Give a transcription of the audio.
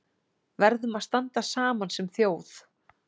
Verðum að standa saman sem þjóð